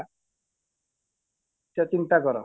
ସେ ଚିନ୍ତା କର